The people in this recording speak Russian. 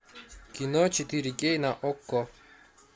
кино четыре кей на окко